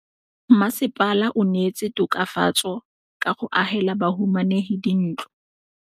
Mmasepala o neetse tokafatsô ka go agela bahumanegi dintlo.